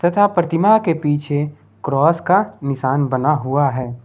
तथा प्रतिमा के पीछे क्रॉस का निशान बना हुआ है।